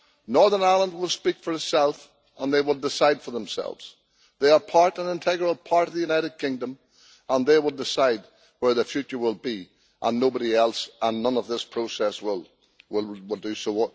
Northern Ireland will speak for itself, and the people will decide for themselves. They are an integral part of the United Kingdom, and they will decide where their future will be nobody else and none of this process will do so.